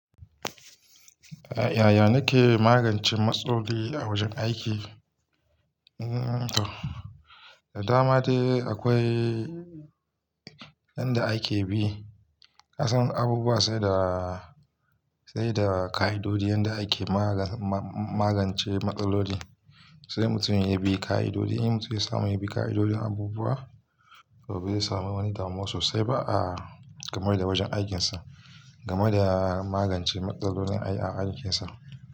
Yaya nake magance matsaloli a wajen aiki? Da dama akwai yanda ake bi, ka san abubuwa sai da, sai da ka'idoji yanda a ke magance matsaloli. Sai mutum ya bi ka'idoji, in mutum ya samu ya bi ka'idojin abubuwa, to ba zai samu wani damuwa sosai ba'a game da wajen aikinsa, game da magance matsalolin ai a aikinsa.